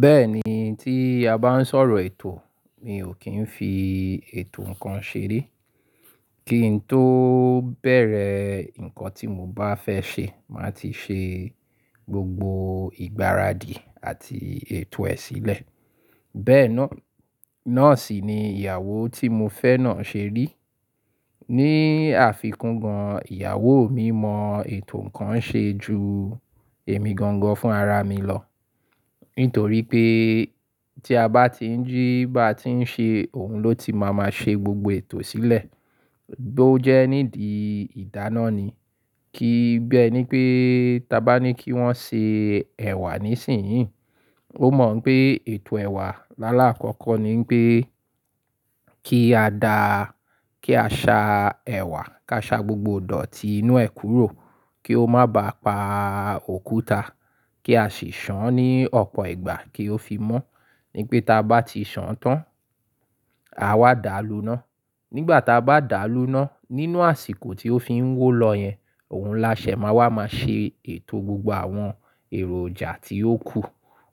Bẹ́ẹ̀ ni tí a bá ń sọ̀rọ̀ ètò, mi ò kí ń fi ètò ǹkan ṣe ré. Kí n tó bẹ̀rẹ̀ ǹkan tí mo bá fẹ́ ṣe, màá ti ṣe gbogbo ìgbáradì àti ètò ẹ̀ sílẹ̀. Bẹ́ẹ̀ náà sì ni ìyàwó tí mo fẹ́ náà ṣe rí. Ni àfikún gan, ìyàwó mi mọ ètò ǹkan ṣe ju èmi gan gan fún ara mi lọ. Nítorí pé tí a bá ti ń jí bá ti ń ṣe, òun ló ti máa ma ṣe gbogbo ètò sílẹ̀. Bí ó jẹ́ nídi ìdáná ni. Kí bẹ́ ẹ ní pé, ta bá ní kí wọ́n ṣe ẹ̀wà nísìnyí, ó mọ̀ pé ètò ẹ̀wà lálá àkọ́kọ́ ni pé kí a dá, kí a sa ẹ̀wà, ká sa gbogbo dòtí inú ẹ̀ kúrò kí ó má bà pa òkúta, kí a sì ṣàn án ní ọ̀pọ̀ ìgbà kí ó fi mọ́. Ní pé ta bá ti ṣàn án tán, a wá dà á luná. Nígbà ta bá dà á luná, nínú àsìkò tí ó fi ń wó lọ yẹn, òun láṣẹ máa wà máa ṣe ètò gbogbo àwọn èròjà tí ó kù.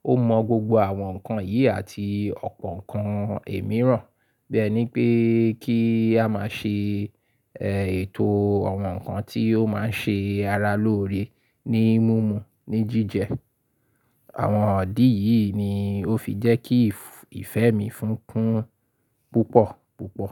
Ó mọ gbogbo àwọn ǹkan yìí àti ọ̀pọ̀ ǹkan mìíràn. Bẹ́ ẹ ní pé kí a má ṣe, ẹ, ètò àwọn ǹkan tí ó má ń ṣe ara lóore ní mímu, ní jíjẹ. Àwọn ọ̀dí yìí ni ó fi jẹ́ kí ìfẹ́ mi fún kún púpọ̀ púpọ̀ púpọ̀.